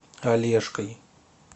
олежкой